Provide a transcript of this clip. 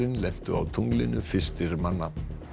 lentu á tunglinu fyrstir manna